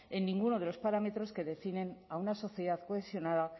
en ninguno de los parámetros que definen a una sociedad cohesionada